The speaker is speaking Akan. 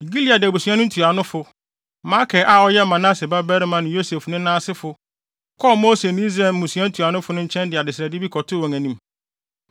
Gilead abusua no ntuanofo, Makir a ɔyɛ Manase babarima ne Yosef nena asefo, kɔɔ Mose ne Israel mmusua ntuanofo no nkyɛn de adesrɛde kɔtoo wɔn anim.